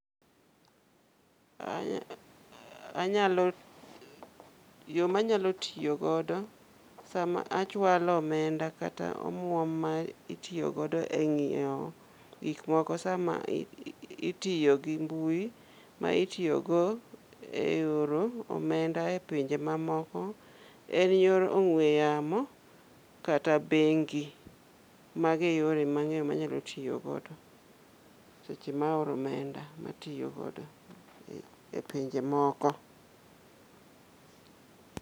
Anya anyalo yo manyalo tiyo godo sama achwalo omenda kata omuom ma itiyogodo e ng'iyo gik moko sama itiyo gi mbui ma itiyogo e oro omenda e pinje mamoko. En yor ong'we yamo kata bengi, magi e yore mang'eyo manyalo tiyo godo seche maoro omenda matiyogodo e pinje moko.